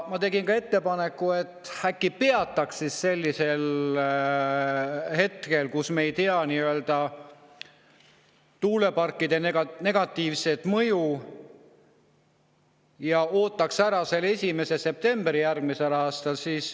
Ma tegin ettepaneku, et äkki peatame selle hetkel, kui me tuuleparkide negatiivseid mõjusid ei tea, ja ootame ära 1. septembri järgmisel aastal.